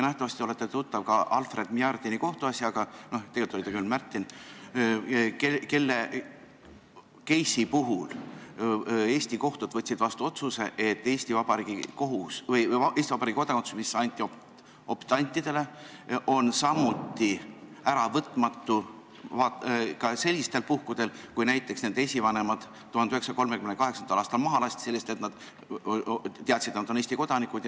Nähtavasti olete tuttav ka Albert Märdini kohtuasjaga – tegelikult oli ta küll Märtin –, kelle case'i puhul Eesti kohtud võtsid vastu otsuse, et Eesti Vabariigi kodakondsus, mis anti optantidele, on samuti äravõtmatu ka sellistel puhkudel, kui näiteks nende esivanemad 1938. aastal maha lasti selle eest, et nad olid Eesti kodanikud.